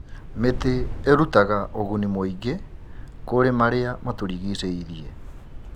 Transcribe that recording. Mĩtĩ ĩrutaga ũguni mũingĩ kũrĩ marĩa matũrigicĩirie.